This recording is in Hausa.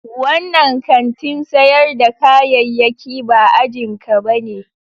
Wannan kantin sayar da kayayyaki ba ajin ka bane.